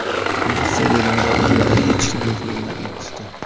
Militsiya bo‘limida u yerda hech kim yo‘qligini aytishdi.